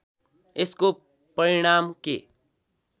यसको परिणाम के